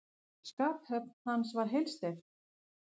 Skaphöfn hans var heilsteypt.